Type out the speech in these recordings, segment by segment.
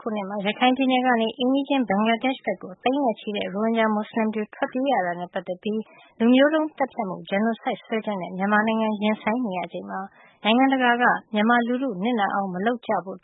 ခုနှစ်မှာ ရခိုင်ပြည်နယ်ကနေ အိမ်နီးချင်း ဘင်္ဂလားဒေ့ရှ်ဘက်ကို သိန်းနဲ့ချီတဲ့ ရိုဟင်ဂျာ မွတ်ဆလင်တွေ ထွက်ပြေးရတာနဲ့ပတ်သက်ပြီး လူမျိုးတုံးသတ်ဖြတ်မှု (Genocide) စွဲချက်နဲ့ မြန်မာနိုင်ငံ ရင်ဆိုင်နေရချိန်မှာ နိုင်ငံတကာအနေနဲ့ မြန်မာလူထုနစ်နာအောင် မလုပ်ကြဖို့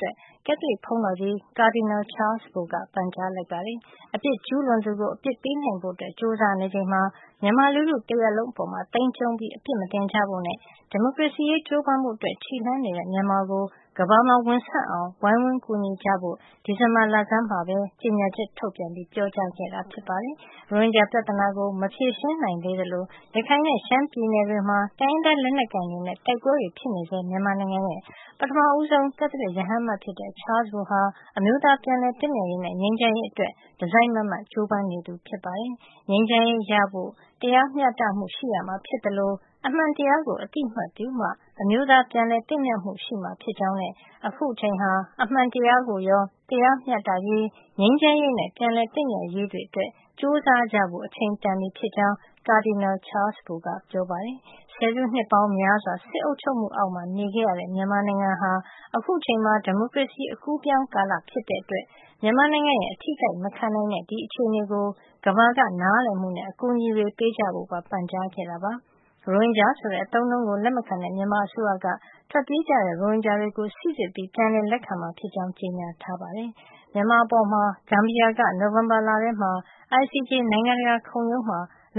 ကက်သလစ်ဘုန်းတော်ကြီး ကာဒီနယ်လ် ချားလ်စ် ဘိုက ပန်ကြားလိုက်ပါတယ်။ အပြစ်ကျူးလွန်သူကို အပြစ်ပေးနိုင်ဖို့ ကြိုးစားနေချိန်မှာ မြန်မာလူထုတရပ်လုံးအပေါ် သိမ်းကျုံးအပြစ်မတင်ကြဖို့နဲ့ ဒီမိုကရေစီရေးကြိုးပမ်းဖို့ ခြေလှမ်းနေတဲ့ မြန်မာကို ကမ္ဘာမှာ ဝင်ဆန့်အောင် ဝိုင်းဝန်းကူညီကြဖို့ ကာဒီနယ်လ် ချားလ်စ် ဘိုက ဒီဇင်ဘာလဆန်းမှာ ကြေညာချက်ထုတ်ပြန်ပြီး ပြောကြားခဲ့တာပါ။ ရိုဟင်ဂျာပြဿနာကို မဖြေရှင်းနိုင်သေးသလို ရခိုင်နဲ့ ရှမ်းပြည်နယ်တွေမှာ တိုင်းရင်းသား လက်နက်ကိုင်တွေနဲ့ တိုက်ပွဲတွေဖြစ်နေဆဲ မြန်မာနိုင်ငံရဲ့ ပထမဆုံး ကက်သလစ်ရဟန်း အမတ်ဖြစ်တဲ့ ချားလ်စ်ဘိုဟာ အမျိုးသား ပြန်လည်သင့်မြတ်ရေးနဲ့ ငြိမ်းချမ်းရေးအတွက် တစိုက်မတ်မတ် ကြိုးပမ်းနေသူဖြစ်ပါတယ်။ ငြိမ်းချမ်ရေးရဖို့ တရားမျှတမှု ရှိရမှာဖြစ်သလို အမှန်တရားကို အသိမှတ်ပြုမှ အမျိုးသား ပြန်လည်သင့်မြတ်မှု ရှိမှာဖြစ်ကြောင်းနဲ့ အခုအချိန်ဟာ အမှန်တရားကိုရော တရားမျှတရေး၊ ငြိမ်းချမ်းရေးနဲ့ ပြန်လည်သင့်မြတ်ရေးတွေအတွက် ကြိုးစားကြဖို့ အချိန်တန်ပြီ ဖြစ်ကြောင်း ကာဒီနယ်လ် ချားလ်စ် ဘိုက ပြောပါတယ်။ ဆယ်စုနှစ်ပေါင်းများစွာ စစ်အုပ်ချုပ်မှုအောက် နေခဲ့ရတဲ့ မြန်မာနိုင်ငံဟာ အခုချိန်မှာ ဒီမိုကရေစီ အကူးအပြောင်းကာလ ဖြစ်တဲ့အတွက် မြန်မာနိုင်ငံရဲ့ အထိအခိုက်မခံနိုင်တဲ့ အခြေနေကို ကမ္ဘာက နားလည်မှုနဲ့ အကူညီတွေ ပေးကြဖို့ပါ ပန်ကြားခဲ့တာပါ။ ရိုဟင်ဂျာဆိုတဲ့ အသုံးအနှုန်းကို လက်မခံတဲ့ မြန်မာအစိုးရက ထွက်ပြေးသွားသူတွေကို စိစစ် ပြီး ပြန်လက်ခံမှာဖြစ်ကြောင်း ကြေညာထားပါတယ်။ မြန်မာအပေါ် ဂမ်ဘီယာက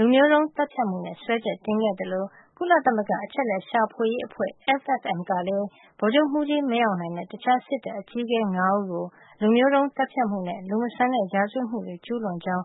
လူမျိုးတုန်းသတ်ဖြတ်မှုစွပ်စွဲချက်နဲ့ နိုဝင်ဘာလက ICJ မှာ တရားစွဲ ခဲ့သလို ကုလသမဂ္ဂ အချက်အလက်ရှာဖွေရေးအဖွဲ့ (FFM) ကလည်း ဗိုလ်ချုပ်မှူးကြီး မင်းအောင်လှိုင်နဲ့ တခြား စစ်တပ်အကြီးအကဲ ၅ ဦးကို လူမျိုးတုံးသတ်ဖြတ်မှုနဲ့ လူမဆန်တဲ့ ရာဇဝတ်မှုတွေ ကျူးလွန်ကြောင်း